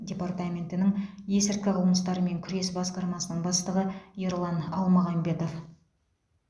департаментінің есірткі қылмыстарымен күрес басқармасының бастығы ерлан алмағамбетов